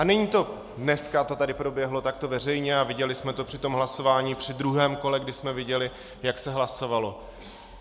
A není to... dneska to tady proběhlo takto veřejně a viděli jsme to při tom hlasování při druhém kole, kdy jsme viděli, jak se hlasovalo.